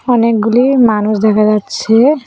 অনেকগুলি মানুষ দেখা যাচ্ছে।